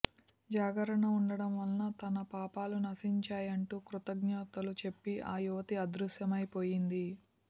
జాగరణ వుండటం వలన తన పాపాలు నశించాయంటూ కృతజ్ఞతలు చెప్పి ఆ యువతీ అదృశ్యమై పోయింది